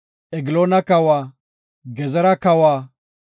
Egloona kawa, Gezera kawa,